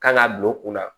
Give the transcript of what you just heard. Kan ka don u kunna